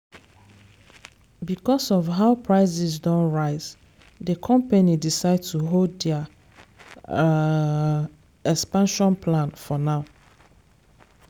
because of how prices don rise the company decide to hold their um expansion plan for now.